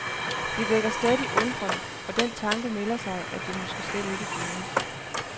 Det vækker stadig undren, og den tanke melder sig, at det måske slet ikke findes.